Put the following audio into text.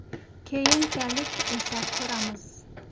Keyinchalik esa ko‘ramiz.